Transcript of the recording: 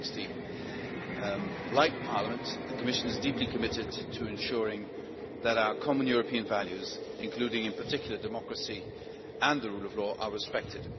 2016. Like Parliament, the Commission is deeply committed to ensuring that our common European values, including in particular democracy and the rule of law, are respected.